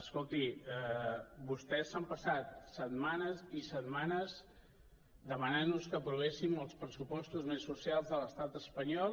escolti vostès s’han passat setmanes i setmanes demanant nos que aprovéssim els pressupostos més socials de l’estat espanyol